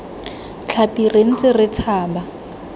tlhapi re ntse re tshaba